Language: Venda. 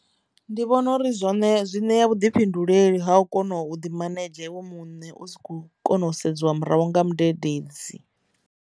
Ndi vhona uri zwone zwi ṋea vhuḓifhinduleli ha u kona u ḓi manedzhe vho muṋe u sa kho kona u sedziwa murahu nga mudededzi.